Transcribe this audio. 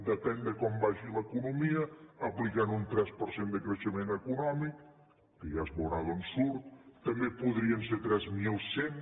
depèn de com vagi l’economia aplicant un tres per cent de creixement econòmic que ja es veurà d’on surt també podrien ser tres mil cent